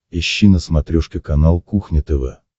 ищи на смотрешке канал кухня тв